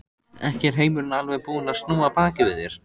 Ekki er heimurinn alveg búinn að snúa baki við þér.